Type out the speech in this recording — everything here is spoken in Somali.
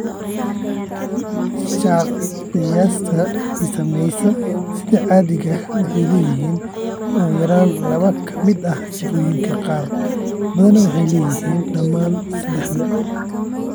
Shakhsiyaadka ay saamaysay sida caadiga ah waxay leeyihiin ugu yaraan laba ka mid ah sifooyinkan, qaar badanna waxay leeyihiin dhammaan saddexda.